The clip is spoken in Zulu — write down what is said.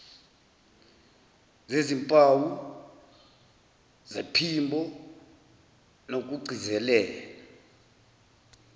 zezimpawu zephimbo nokugcizelela